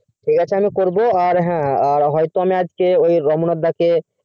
ঠিক আছে আমি করবো হ্যাঁ হ্যাঁ আজকে আমি রোমনাথ দাকে